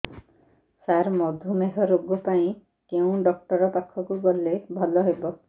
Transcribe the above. ସାର ମଧୁମେହ ରୋଗ ପାଇଁ କେଉଁ ଡକ୍ଟର ପାଖକୁ ଗଲେ ଭଲ ହେବ